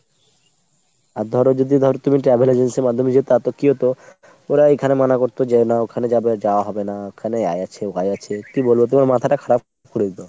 আর ধরো যদি ধরো তুমি travel agency যেত তাতে কি হতো ওরা ওখানে মানা করতো যেও ন। ওখানে যাওয়া হবে না। ওখানে আয়ে আছে ওয়ে আছে, কি বলবো তোমার মাথাটা খারাপ করে দিতো।